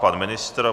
Pan ministr?